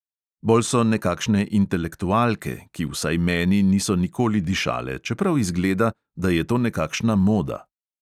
Bolj so nekakšne intelektualke, ki vsaj meni niso nikoli dišale, čeprav izgleda, da je to nekakšna moda.